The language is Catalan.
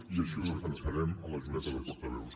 i així ho defensarem a la junta de portaveus